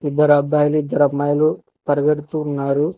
ఇద్దరు అబ్బాయిలు ఇద్దరు అమ్మాయిలు పరిగెడుతున్నారు.